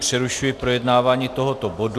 Přerušuji projednávání tohoto bodu.